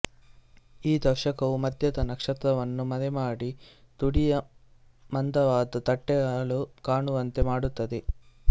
ಈ ದರ್ಶಕವು ಮಧ್ಯದ ನಕ್ಷತ್ರವನ್ನು ಮರೆಮಾಡಿ ತುದಿಯ ಮಂದವಾದ ತಟ್ಟೆಗಳು ಕಾಣುವಂತೆ ಮಾಡುತ್ತದೆ